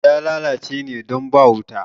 Naman sa ya lalace ne don ba wuta